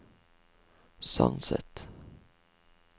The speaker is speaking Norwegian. Sandset